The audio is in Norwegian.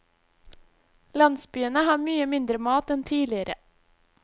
Landsbyene har mye mindre mat enn tidligere.